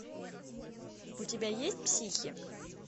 у тебя есть психи